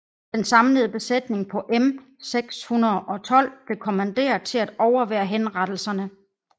Den samlede besætning på M 612 blev kommanderet til at overvære henrettelserne